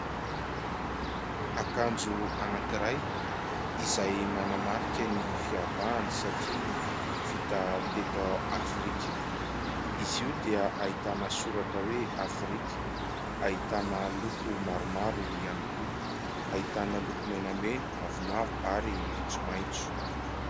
Akanjo anankiray izay manamarika ny fiavahany satria vita teto Afrika. Izy io dia ahitana soratra hoe "Afrika". Ahitana loko maromaro ihany koa. Ahitana loko menamena, mavomavo ary maitsomaitso.